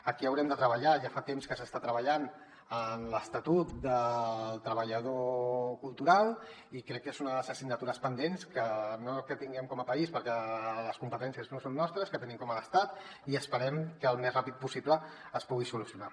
aquí haurem de treballar ja fa temps que s’hi està treballant en l’estatut del treballador cultural i crec que és una de les assignatures pendents no que tinguem com a país perquè les competències no són nostres que tenim a l’estat i esperem que al més ràpid possible es pugui solucionar